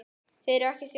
Þið eruð ekki þjóðin!